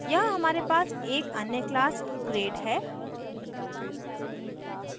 यहाँ हमारे पास एक अन्य class grade है